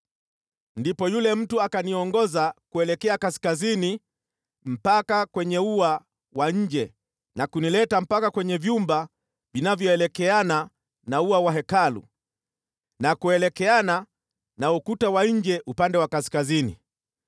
Ndipo yule mtu akaniongoza kuelekea kaskazini mpaka kwenye ua wa nje na kunileta mpaka kwenye vyumba vinavyoelekeana na ua wa Hekalu na kuelekeana na ukuta wa nje upande wa kaskazini.